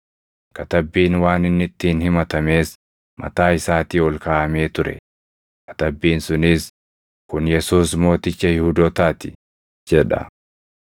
Katabbiin waan inni ittiin himatamees mataa isaatii ol kaaʼamee ture; katabbiin sunis, Kun Yesuus Mooticha Yihuudootaa ti, jedha.